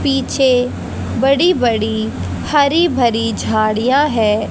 पीछे बड़ी बड़ी हरी भरी झाड़ियां है।